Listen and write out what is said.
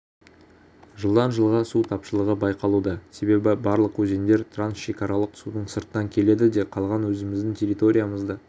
жылдан жылға су тапшылығы байқалуда себебі барлық өзендер трансшекаралық судың сырттан келеді де қалған өзіміздің территориямызда